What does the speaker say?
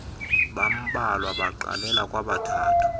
bambalwa baqalela kwabathathu